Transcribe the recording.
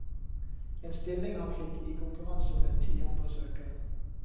En stilling han fikk i konkurranse med ti andre søkere.